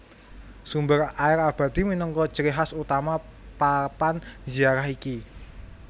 Sumber air abadi minangka ciri khas utama papan ziarah iki